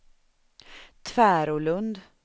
Tvärålund